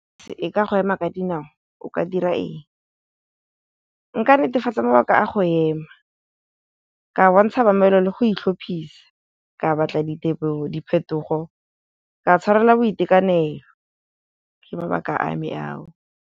E ka go ema ka dinao o ka dira eng, nka netefatsa mabaka a go ema, ka bontsha mamelo le go itlhophisa, ka batla diphetogo, ka tshwarela boitekanelo ke mabaka a me a o.